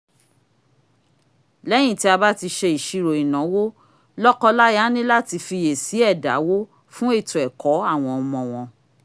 léyìn tí a bá ti ṣe ìsirò ìnáwó lọ́kọláya ní láti fiyè sí ẹ̀dáwó fún ètò ẹ̀kọ́ àwọn ọmọ wọn